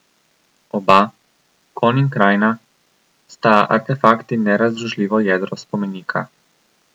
Oba, konj in krajina, sta artefakt in nerazdružljivo jedro spomenika.